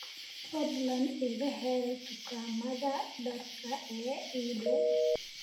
fadlan iga hel dukaamada dharka ee ii dhow